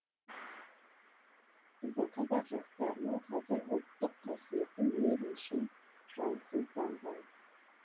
біздің қазақ жастарының қазір ұлттық қасиеті мейлінше жансызданған